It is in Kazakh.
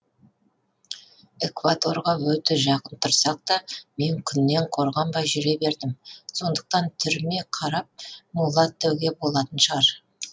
экваторға өте жақын тұрсақ та мен күннен қорғанбай жүре бердім сондықтан түріме қарап мулат деуге болатын шығар